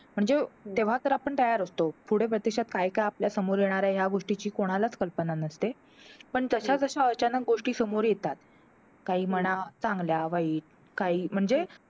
म्हणजे तेव्हा तर आपण तयार असतो. पुढे प्रत्यक्षात काय काय आपल्या समोर येणार आहे, ह्या गोष्टीची कोणालाच कल्पना नसते. पण जश्याजश्या अचानक गोष्टी समोर येतात. काही म्हणा चांगल्या, वाईट काही म्हणजे